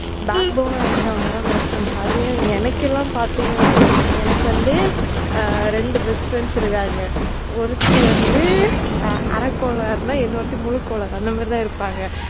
back bone னா இருக்குறவங்க தான் best friends அதிலும் வந்து எனக்கெல்லாம் பாத்தீங்கன்னா எனக்கு எனக்கு வந்து ரெண்டு best friends இருக்காங்க ஒருத்தி வந்து அரக்கோளாறுனா இன்னொருத்தி முழு கோளாறு அந்த மாதிரி தான் இருப்பாங்க.